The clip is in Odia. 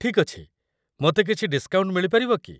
ଠିକ୍ ଅଛି, ମୋତେ କିଛି ଡିସ୍କାଉଣ୍ଟ ମିଳିପାରିବ କି?